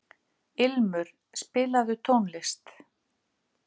Ilmur, spilaðu tónlist.